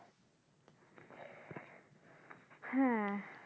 হ্যাঁ।